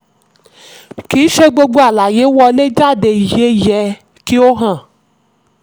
kì í ṣe gbogbo àlàyé wọlé jáde yẹ yẹ kí ó hàn.